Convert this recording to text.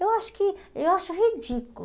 Eu acho que... Eu acho ridículo.